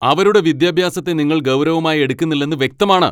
അവരുടെ വിദ്യാഭ്യാസത്തെ നിങ്ങൾ ഗൗരവമായി എടുക്കുന്നില്ലെന്ന് വ്യക്തമാണ്.